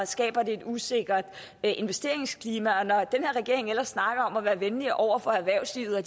skaber et usikkert investeringsklima og når den her regering ellers snakker om at være venlig over for erhvervslivet og